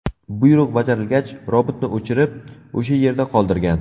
Buyruq bajarilgach, robotni o‘chirib, o‘sha yerda qoldirgan.